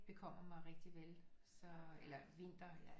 Bekommer mig rigtigt vel så eller vinter jeg